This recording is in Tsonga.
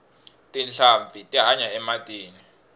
tinhlampfi ti hanya ematini